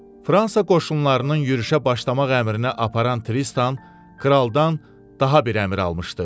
Fransa qoşunlarının yürüşə başlamaq əmrini aparan Tristan kraldan daha bir əmr almışdı.